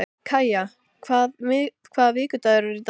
Kaja, hvaða vikudagur er í dag?